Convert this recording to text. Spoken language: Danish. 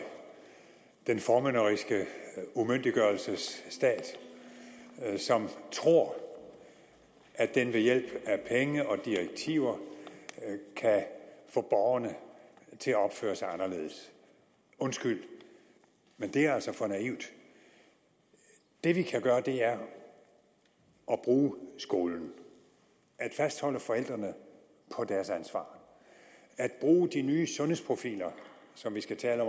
den formynderiske umyndiggørelsesstat som tror at den ved hjælp af penge og direktiver kan få borgerne til at opføre sig anderledes undskyld men det er altså for naivt det vi kan gøre er at bruge skolen at fastholde forældrene på deres ansvar og at bruge de nye sundhedsprofiler som vi skal tale